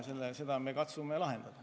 Ja seda me katsume lahendada.